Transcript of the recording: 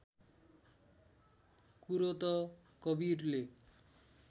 कुरो त कवीरले